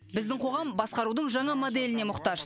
біздің қоғам басқарудың жаңа моделіне мұқтаж